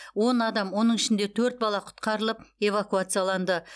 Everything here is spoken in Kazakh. он адам оның ішінде төрт бала құтқарылып эвакуацияланды